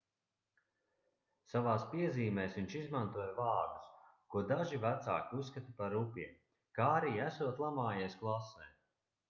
savās piezīmēs viņš izmantoja vārdus ko daži vecāki uzskata par rupjiem kā arī esot lamājies klasē